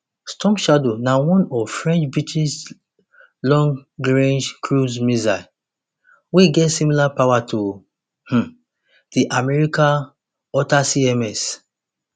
storm shadow na one frenchbritish longrange cruise missile wey get similar power to um di america atacms